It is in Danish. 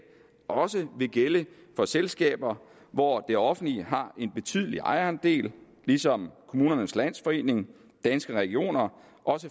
også vil gælde for selskaber hvor det offentlige har en betydelig ejerandel ligesom kommunernes landsforening danske regioner